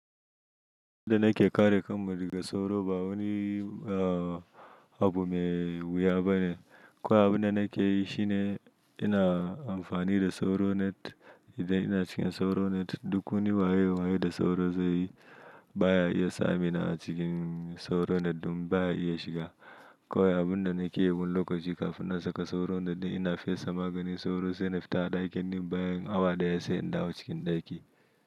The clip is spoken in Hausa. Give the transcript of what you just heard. Abun da nake kare kanmu daga sauro ba wani abu mai wuya ba ne. Ko abun da nake yi shi ne ina amfani da sauro net. Idan ina cikin sauro net, duk wani waye waye da sauro zai yi baya iya sami na a cikin sauro net ɗin baya iya shiga. Kawai abun da nake yi wani lokaci kafin na saka sauro net ɗin ina fesa maganin sauro sai na fita ɗakin nan bayan awa ɗaya sai in dawo cikin ɗaki.